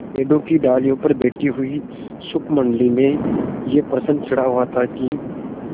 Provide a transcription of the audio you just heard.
पेड़ की डालियों पर बैठी शुकमंडली में यह प्रश्न छिड़ा हुआ था कि